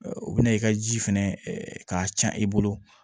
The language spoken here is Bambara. O bɛna i ka ji fɛnɛ k'a can i bolo